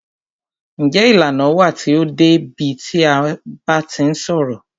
Njé ìlànà wà tí o dé bi a ti ń ṣọ̀rọ̀?